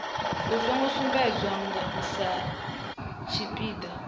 u songo sumbedzwa sa tshipiḓa